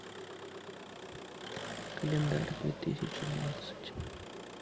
календарь две тысячи двадцать